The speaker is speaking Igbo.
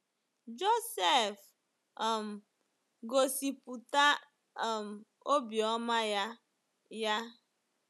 Josef um gosipụta um obiọma ya. ya.